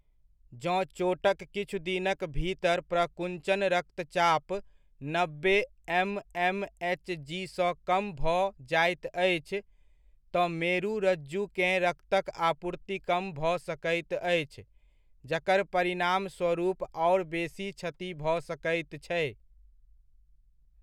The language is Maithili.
जँ चोटक किछु दिनक भीतर प्रकुञ्चन रक्तचाप नब्बे एम.एम.एच.जी.सँ कम भऽ जाइत अछि, तँ मेरु रज्जुकेँ रक्तक आपूर्ति कम भऽ सकैत अछि जकर परिणामस्वरूप आओर बेसी क्षति भऽ सकैत छै।